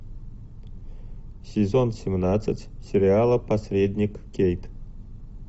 сезон семнадцать сериала посредник кейт